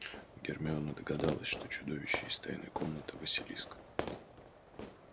гермиона догадалась что чудовище из тайной комнаты василиск